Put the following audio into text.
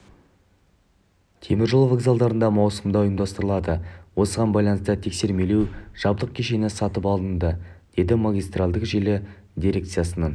теміржол вокзалдарында маусымда ұйымдастырылады осыған байланысты тексермелеу жабдық кешені сатып алынды деді магистральдік желі дирекциясының